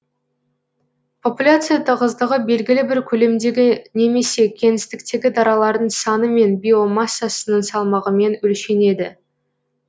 популяция тығыздығы белгілі бір көлемдегі немесе кеңістіктегі даралардың саны мен биомассасының салмағымен өлшенеді